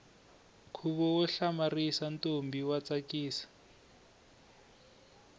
khuvo wo hlamisa ntombi wa tsakisa